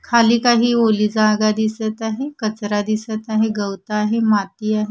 खाली काही ओली जागा दिसत आहे कचरा दिसत आहे गवत आहे माती आहे.